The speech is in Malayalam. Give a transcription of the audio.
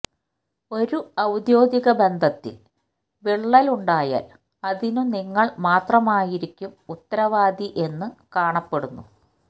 ഒരു ഔദ്യോഗിക ബന്ധത്തിൽ വിള്ളൽ ഉണ്ടായാൽ അതിനു നിങ്ങൾ മാത്രമായിരിക്കും ഉത്തരവാദി എന്നു കാണപ്പെടുന്നു